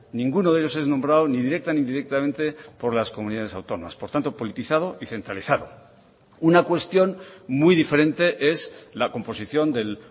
ninguno de ellos es nombrado ni directa ni indirectamente por las comunidades autónomas por tanto politizado y centralizado una cuestión muy diferente es la composición del